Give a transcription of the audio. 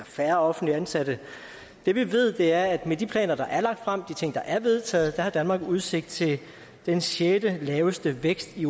færre offentligt ansatte det vi ved er at med de planer der er lagt frem de ting der er vedtaget har danmark udsigt til den sjettelaveste vækst i